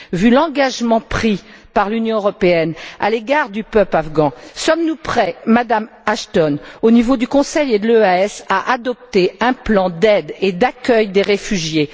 Vu l'engagement pris par l'Union européenne à l'égard du peuple afghan, sommes nous prêts, Madame Ashton, au niveau du Conseil et du SEAE à adopter un plan d'aide et d'accueil des réfugiés?